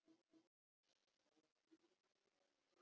Við þökkum fyrir þetta allt.